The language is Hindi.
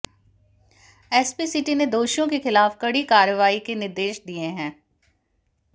एसपी सिटी ने दोषियों के खिलाफ कड़ी कार्रवाई के निर्देश दिए हैं